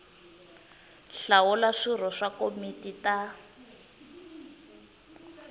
hlawula swirho swa tikomiti ta